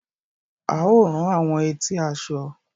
A o rán àwọn etí aṣọ.